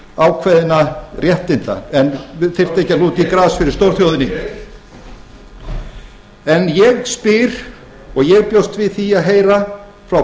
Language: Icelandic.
ákveðinna réttinda en þyrfti ekki að lúta í gras fyrir stórþjóðinni en ég spyr og ég bjóst við því að heyra frá